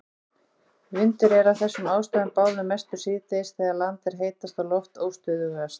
Vindur er af þessum ástæðum báðum mestur síðdegis þegar land er heitast og loft óstöðugast.